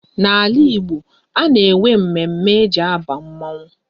N'ala Igbo, a na-enwe mme mme e ji aba mmanwu